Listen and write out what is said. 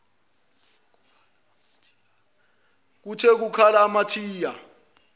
kuthe kukhala amathayi